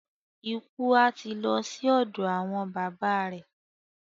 Ikú à ti lo sí òdò àwon baba re.